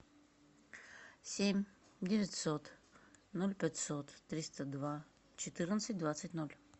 семь девятьсот ноль пятьсот триста два четырнадцать двадцать ноль